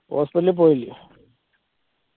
hospital ൽ പോയില്ലയോ